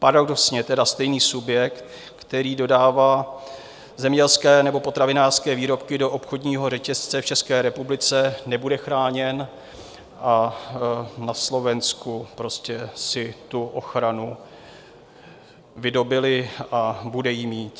Paradoxně tedy stejný subjekt, který dodává zemědělské nebo potravinářské výrobky do obchodního řetězce v České republice, nebude chráněn a na Slovensku prostě si tu ochranu vydobyli a bude ji mít.